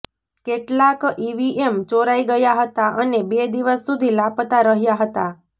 કેટલાંક ઈવીએમ ચોરાઈ ગયાં હતાં અને બે દિવસ સુધી લાપતા રહ્યાં હતાં